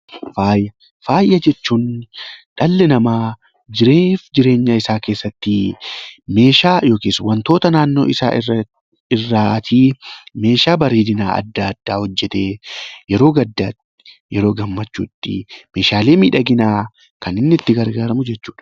Faaya jechuun dhalli namaa jiruuf jireenya isaa keessatti meeshaa yookiis wantoota naannoo isaa irraatii meeshaa bareedinaa addaa addaa hojjetee yeroo gaddaatti, yeroo gammachuu tti meeshaalee miidhaginaa ksn inni itti gargaaramu jechuu dha.